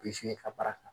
i ka baara kan